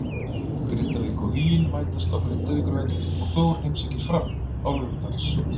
Grindavík og Huginn mætast á Grindavíkurvelli og Þór heimsækir Fram á Laugardalsvöll.